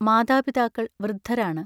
മാതാപിതാക്കൾ വൃദ്ധരാണ്.